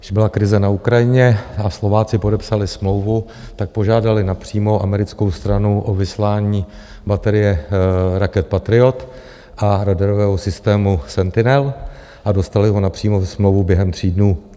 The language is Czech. Když byla krize na Ukrajině a Slováci podepsali smlouvu, tak požádali napřímo americkou stranu o vyslání baterie raket Patriot a radarového systému Sentinel a dostali ho napřímo přes smlouvu během tří dnů.